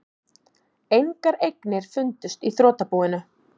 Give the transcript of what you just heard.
Engar eignir fundust í þrotabúinu